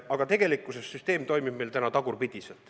Aga tegelikult toimib süsteem meil täna tagurpidi.